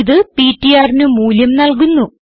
ഇത് ptrന് മൂല്യം നല്കുന്നു